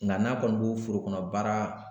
Nka n'a kɔni b'o foro kɔnɔ baara